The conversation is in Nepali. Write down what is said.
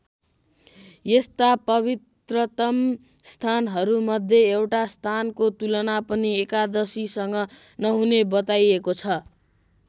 यस्ता पवित्रतम स्थानहरू मध्ये एउटा स्थानको तुलना पनि एकादशीसँग नहुने बताइएको छ।